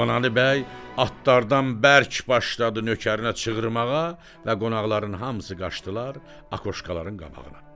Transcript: Qurbanəli bəy atlardan bərk başladı nökərinə çığırmağa və qonaqların hamısı qaçdılar akoşkaların qabağına.